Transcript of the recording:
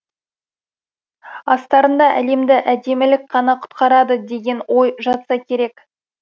астарында әлемді әдемілік қана құтқарады деген ой жатса керек